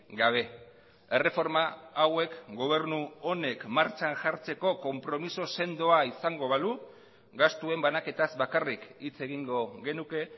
gabe erreforma hauek gobernu honek martxan jartzeko konpromiso sendoa izango balu gastuen banaketaz bakarrik hitz egingo genuke